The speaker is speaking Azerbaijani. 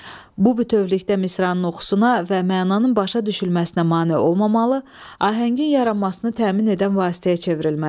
Bu bütövlükdə misranın oxusuna və mənanın başa düşülməsinə mane olmamalı, ahəngin yaranmasını təmin edən vasitəyə çevrilməlidir.